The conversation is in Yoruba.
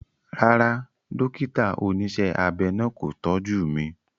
Rárá, dókítà oníṣẹ́ abẹ náà kò tọ́jú mi